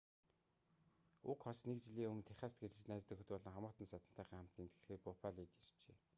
уг хос нэг жилийн өмнө техаст гэрлэж найз нөхөд болон хамаатан садантайгаа хамт тэмдэглэхээр буффалод иржээ